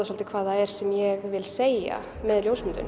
svolítið hvað það er sem ég vil segja með ljósmyndunum